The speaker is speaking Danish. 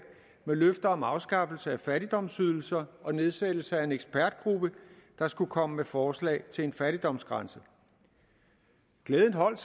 med løfte om afskaffelse af fattigdomsydelser og nedsættelse af en ekspertgruppe der skulle komme med forslag til en fattigdomsgrænse glæden holdt